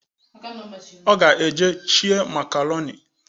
Ọga eje shie makaronị